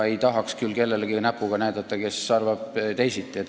Ei tahaks küll näpuga näidata kellelegi, kes teisiti arvab.